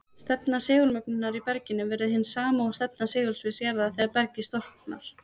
Stefna segulmögnunar í berginu verður hin sama og stefna segulsviðs jarðar þegar bergið storknar.